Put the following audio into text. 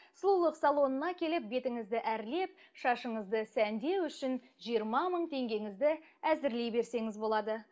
сұлулық салонына келіп бетіңізді әрлеп шашыңызды сәндеу үшін жиырма мың теңгеңізді әзірлей берсеңіз болады